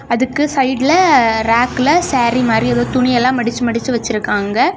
அதுக்கு சைடுல ரேக்ல சாரி மாரி ஏதோ துணி எல்லா மடிச்சு மடிச்சு வச்சிருக்காங்க.